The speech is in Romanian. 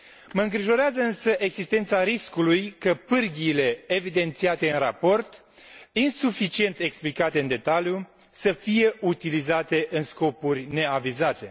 Mă îngrijorează, însă, existența riscului ca pârghiile evidențiate în raport, insuficient explicate în detaliu, să fie utilizate în scopuri neavizate.